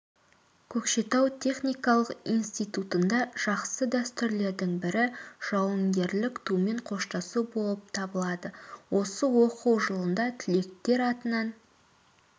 көкшетау техникалық институтында жақсы дәстүрлердің бірі жауынгерлік тумен қоштасу болып табылады осы оқу жылында түлектер атынан